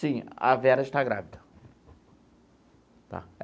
Sim, a Vera está grávida, tá?